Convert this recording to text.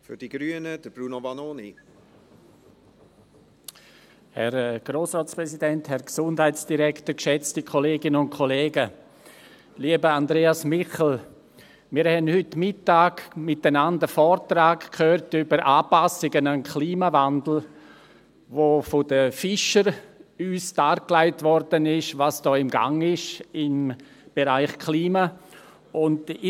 Lieber Andreas Michel, wir haben heute Mittag miteinander einen Vortrag über Anpassungen an den Klimawandel gehört, wo uns von den Fischern dargelegt wurde, was da im Bereich Klima im Gange ist.